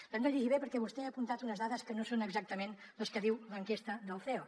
l’hem de llegir bé perquè vostè ha apuntat unes dades que no són exactament les que diu l’enquesta del ceo